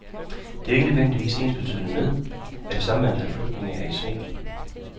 Det er ikke nødvendigvis ensbetydende med, at det samme antal flygtninge er i sving.